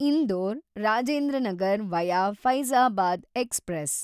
Indore Rajendra Nagar via Faizabad express